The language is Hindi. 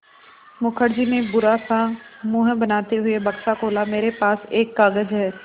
मुखर्जी ने बुरा सा मुँह बनाते हुए बक्सा खोला मेरे पास एक कागज़ है